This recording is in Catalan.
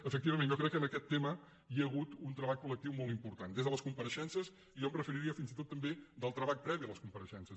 efectivament jo crec que en aquest tema hi ha hagut un treball colles compareixences i jo em referiria fins i tot també del treball previ a les compareixences